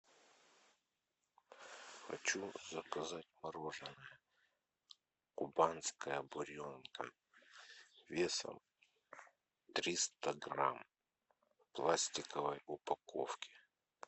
хочу заказать мороженое кубанская буренка весом триста грамм в пластиковой упаковке